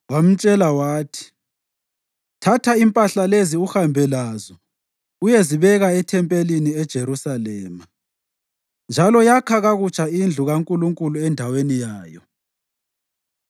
wamtshela wathi, ‘Thatha impahla lezi uhambe lazo uyezibeka ethempelini eJerusalema. Njalo yakha kakutsha indlu kaNkulunkulu endaweni yayo.’